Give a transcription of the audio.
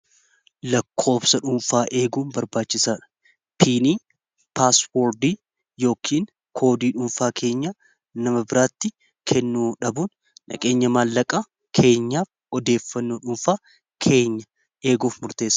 lakkoobsa dhuunfaa eeguu barbaachisaa dha piinii paaswoordii yookiin koodii dhuunfaa keenya nama biraatti kennu dhabuun dhaqeenya maallaqaa keenyaa odeeffannoo dhuunfaa keenya eeguuf murteesa